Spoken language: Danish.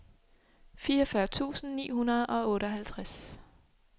fireogfyrre tusind ni hundrede og otteoghalvtreds